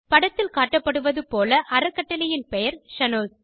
படத்தில் காட்டப்படுவது போல அறக்கட்டளையின் பெயர் ஷனோஸ்